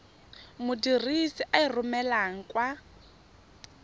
modirisi a e romelang kwa